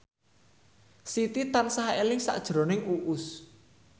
Siti tansah eling sakjroning Uus